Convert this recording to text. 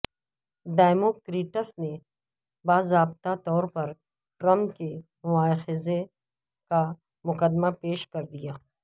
democrats نے باضابطہ طور پر ٹرمپ کے مواخذے کا مقدمہ پیش کردیا